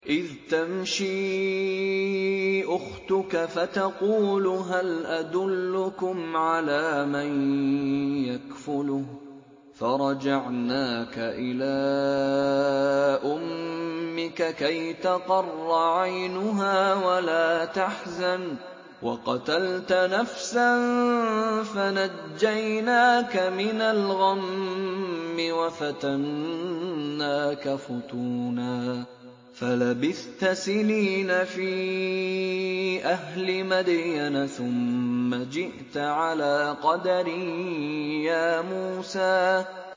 إِذْ تَمْشِي أُخْتُكَ فَتَقُولُ هَلْ أَدُلُّكُمْ عَلَىٰ مَن يَكْفُلُهُ ۖ فَرَجَعْنَاكَ إِلَىٰ أُمِّكَ كَيْ تَقَرَّ عَيْنُهَا وَلَا تَحْزَنَ ۚ وَقَتَلْتَ نَفْسًا فَنَجَّيْنَاكَ مِنَ الْغَمِّ وَفَتَنَّاكَ فُتُونًا ۚ فَلَبِثْتَ سِنِينَ فِي أَهْلِ مَدْيَنَ ثُمَّ جِئْتَ عَلَىٰ قَدَرٍ يَا مُوسَىٰ